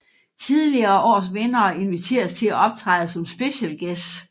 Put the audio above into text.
Tidligere års vindere inviteres til at optræde som special guests